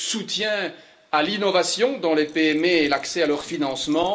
le soutien à l'innovation dans les PME et l'accès à leur financement